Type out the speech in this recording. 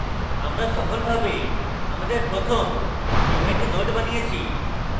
আমরা সফলভাবে আমাদের প্রথম event node বানিয়েছি